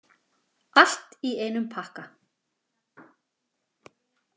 Allt í einum pakka!